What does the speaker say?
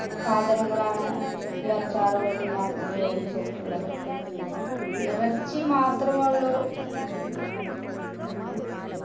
സാധങ്ങളാണ് ഈ അച്ചാറുകൾക്ക് ഞാൻ ഉപയോഗിച്ചിട്ടുള്ളത് ഇറച്ചി മാത്രമേ ഉള്ളു